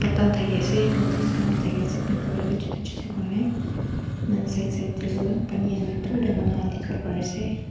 patta khan thaki ase lotus khan bi thaki ase pink colour te chotu chotu kurine ena side side te pani hoina dur te manukhan dikhiwo pari ase.